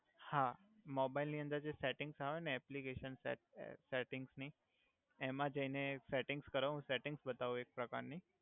હા મોબઈલની અંદર જે સેટિંગ્સ આવે ને એપ્લિકેશન સેટ એ સેટિંગ્સ ની એમા જઈને એક કરો હુ સેટિંગ્સ બતાવુ એક પ્રકાર ની.